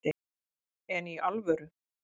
En í alvöru